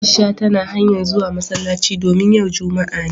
Aisha tana hanya'n zuwa masallaci domin yau Juma'a ne.